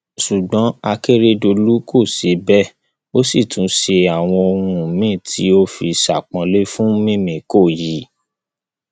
ṣùgbọn akérédọlù kò ṣe bẹẹ ó sì tún ṣe àwọn ohun míín tó fi ṣe àpọnlé fún mímíkọ yìí